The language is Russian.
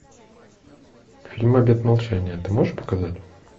фильм обет молчания ты можешь показать